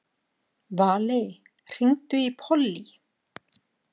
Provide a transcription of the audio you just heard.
Valey, hringdu í Pollý.